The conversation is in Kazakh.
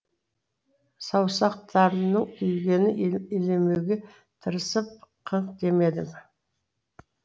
саусақтарымның күйгенін елемеуге тырысып қыңқ демедім